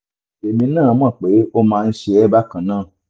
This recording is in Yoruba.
èmi náà mọ̀ pé ó máa ń ṣe ẹ́ bákan náà